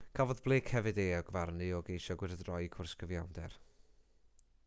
cafodd blake hefyd ei euogfarnu o geisio gwyrdroi cwrs cyfiawnder